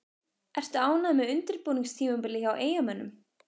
Ertu ánægður með undirbúningstímabilið hjá Eyjamönnum?